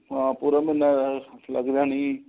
ਹਾਂ ਪੂਰਾ ਮਹੀਨਾ ਲੱਗਦਾ ਨੀ